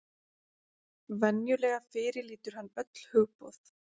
Venjulega fyrirlítur hann öll hugboð.